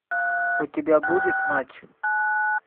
у тебя будет матч